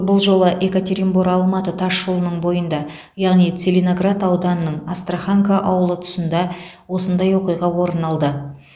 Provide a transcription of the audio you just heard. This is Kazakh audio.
бұл жолы екатеринбор алматы тас жолының бойында яғни целиноград ауданының астраханка ауылы тұсында осындай оқиға орын алды